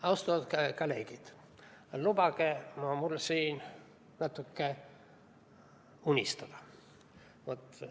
Austatud kolleegid, lubage mul siin natuke unistada.